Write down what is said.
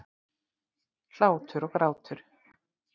Hlátur og grátur.